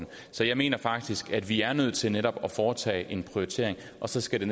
så jeg mener faktisk at vi er nødt til netop at foretage en prioritering og så skal